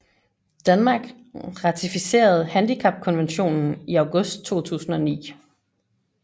Danmark ratificerede handicapkonventionen i august 2009